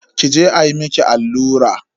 Ki je ayi miki allura.